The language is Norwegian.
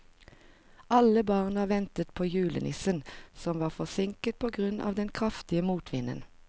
Alle barna ventet på julenissen, som var forsinket på grunn av den kraftige motvinden.